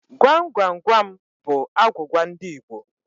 Gwam gwam gwam bụ agwụgwa ndị Igbo.